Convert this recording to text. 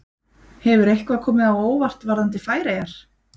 Hefur eitthvað komið á óvart varðandi Færeyjar?